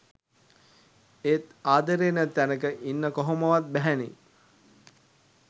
එත් ආදරේ නැති තැනක ඉන්න කොහොමවත් බැහැ නේ?